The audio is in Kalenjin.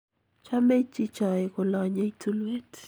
chomei chichoe kolonyei tulwet